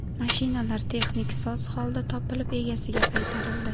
Mashinalar texnik soz holda topilib egasiga qaytarildi.